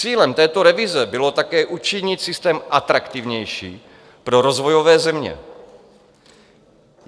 Cílem této revize bylo také učinit systém atraktivnější pro rozvojové země.